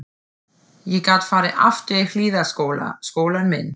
Ég gat farið aftur í Hlíðaskóla, skólann minn.